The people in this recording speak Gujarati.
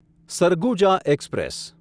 સરગુજા એક્સપ્રેસ